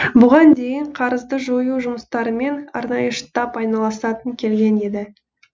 бұған дейін қарызды жою жұмыстарымен арнайы штаб айналысып келген еді